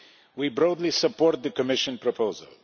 We broadly support the Commission proposal.